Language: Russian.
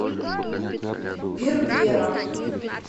бербера